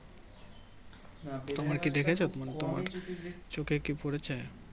চোখে কি পরেছে